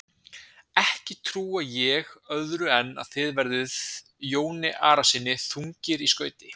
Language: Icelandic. Ekki trúi ég öðru en að þið verðið Jóni Arasyni þungir í skauti.